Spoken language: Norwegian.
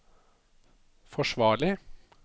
forsvarlig